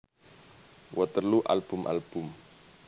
Waterloo album album